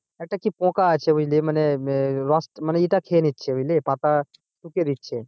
একটা কি পোকা আছে বুঝলি মানে মানে ইয়েটা খেয়ে নিচ্ছে পাতা বুঝলি পাতা দিচ্ছে